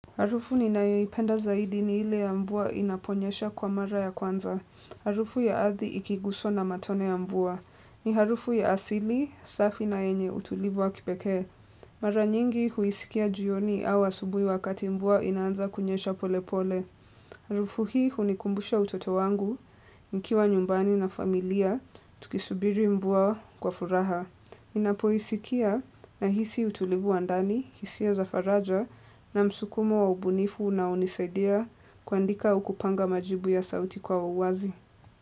Harufu ninayoipenda zaidi ni ile ya mvua inaponyesha kwa mara ya kwanza. Harufu ya ardhi ikiguswa na matone ya mvua. Ni harufu ya asili, safi na yenye utulivu wa kipekee. Mara nyingi huisikia jioni au asubuhi wakati mvua inaanza kunyesha pole pole. Harufu hii hunikumbusha utoto wangu, nkiwa nyumbani na familia, tukisubiri mvua kwa furaha. Inapo isikia nahisi utulivu wa ndani, hisi ya zafaraja na msukumo wa ubunifu unaonisaidia kuandika au kupanga majibu ya sauti kwa uwazi.